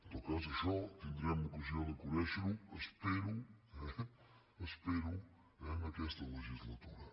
en tot cas això tindrem ocasió de conèixer ho espero espero en aquesta legislatura